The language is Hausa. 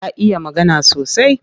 Ya iya magana sosai.